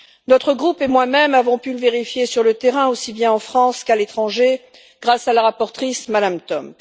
Notre groupe et moi même avons pu le vérifier sur le terrain, aussi bien en France qu'à l'étranger, grâce à la rapporteure Mme Tomc.